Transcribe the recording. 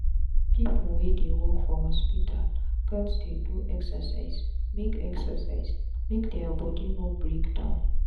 pipu wey dey work for hospital gats dey do exercise make exercise make dia body no break down